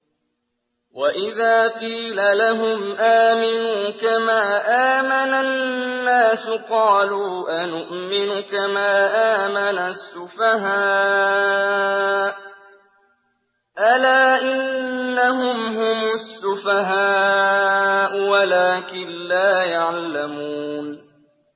وَإِذَا قِيلَ لَهُمْ آمِنُوا كَمَا آمَنَ النَّاسُ قَالُوا أَنُؤْمِنُ كَمَا آمَنَ السُّفَهَاءُ ۗ أَلَا إِنَّهُمْ هُمُ السُّفَهَاءُ وَلَٰكِن لَّا يَعْلَمُونَ